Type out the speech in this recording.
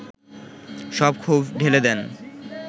সব ক্ষোভ ঢেলে দেন